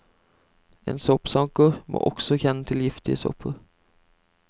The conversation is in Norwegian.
En soppsanker må også kjenne til giftige sopper.